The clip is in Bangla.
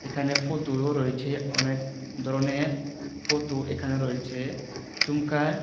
এখানে ফোতো -ও রয়েছে অনেক ধরনের ফোতো এখানে রয়েছে ঝুমকায় --